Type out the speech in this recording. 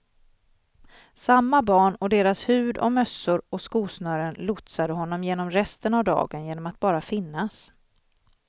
Samma barn och deras hud och mössor och skosnören lotsade honom genom resten av dagen genom att bara finnas.